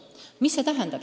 Mida see tähendab?